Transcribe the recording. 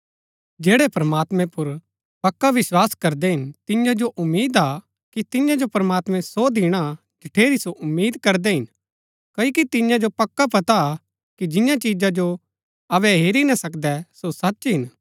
जैड़ै प्रमात्मैं पुर पक्का विस्वास करदै हिन तियां जो उम्मीद हा कि तियां जो प्रमात्मैं सो दिणा जठेरी जो उम्मीद करदै हिन क्ओकि तियां जो पक्का पता हा कि जियां चिजा जो अबै हेरी ना सकदै सो सच हिन